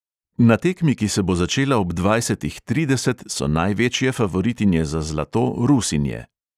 Na tekmi, ki se bo začela ob dvajsetih trideset, so največje favoritinje za zlato rusinje.